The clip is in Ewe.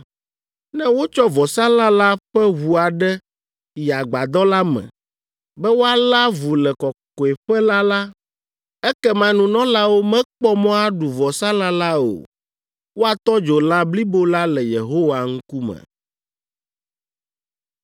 Ne wotsɔ vɔsalã la ƒe ʋu aɖe yi Agbadɔ la me, be woalé avu le Kɔkɔeƒe la la, ekema nunɔlawo mekpɔ mɔ aɖu vɔsalã la o. Woatɔ dzo lã blibo la le Yehowa ŋkume.